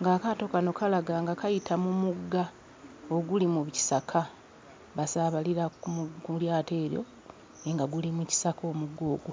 ng'akaato kano kalaga nga kayita mu mugga oguli mu kisaka basaabalira ku mu ku lyato eryo naye nga guli mu kisaka omugga ogwo.